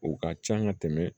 O ka can ka tɛmɛ